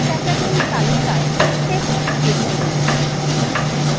এখানে category তালিকায় text click করুন